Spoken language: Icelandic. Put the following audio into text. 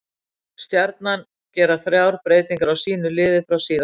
Stjarnan gera þrjár breytingar á sínu liði frá síðasta leik.